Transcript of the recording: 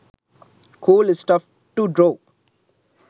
cool stuff to draw